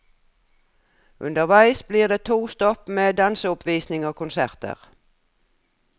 Underveis blir det to stopp med danseoppvisning og konserter.